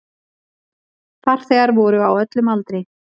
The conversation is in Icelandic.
Farþegar voru á öllum aldri.